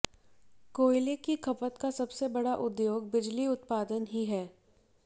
कोयले की खपत का सबसे बड़ा उद्योग बिजली उत्पादन ही है